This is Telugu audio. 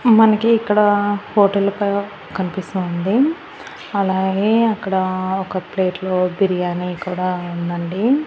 మనకీ ఇక్కడ హోటలు క కనిపిస్తోంది అలాగే అక్కడ ఒక ప్లేట్లో బిర్యానీ కూడా ఉందండి.